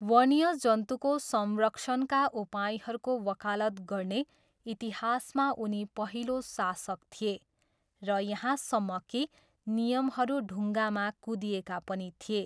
वन्यजन्तुको संरक्षणका उपायहरूको वकालत गर्ने इतिहासमा उनी पहिलो शासक थिए र यहाँसम्म कि नियमहरू ढुङ्गामा कुँदिएका पनि थिए।